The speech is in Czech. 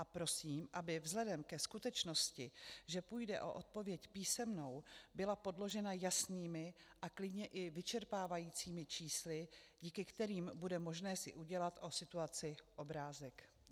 A prosím, aby vzhledem ke skutečnosti, že půjde o odpověď písemnou, byla podložena jasnými a klidně i vyčerpávajícími čísly, díky kterým bude možné si udělat o situaci obrázek.